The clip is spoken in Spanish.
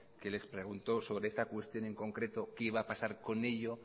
que les preguntó sobre esta cuestión en concreto qué iba a pasar con ello